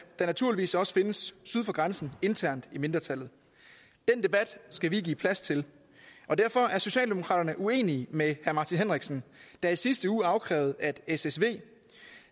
der naturligvis også findes syd for grænsen internt i mindretallet den debat skal vi give plads til og derfor er socialdemokraterne uenige med herre martin henriksen der i sidste uge krævede at ssv